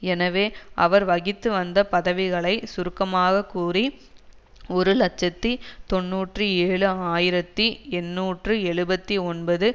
எனவே அவர் வகித்துவந்த பதவிகளை சுருக்கமாக கூறி ஒரு இலட்சத்தி தொன்னூற்றி ஏழு ஆயிரத்தி எண்ணூற்று எழுபத்தி ஒன்பது